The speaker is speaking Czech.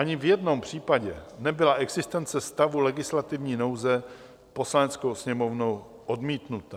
Ani v jednom případě nebyla existence stavu legislativní nouze Poslaneckou sněmovnou odmítnuta.